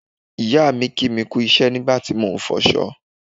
ìyáà mi kí mi kú iṣẹ́ nígbà tí mo ń fọṣọ